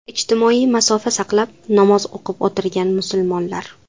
Ijtimoiy masofa saqlab namoz o‘qib o‘tirgan musulmonlar.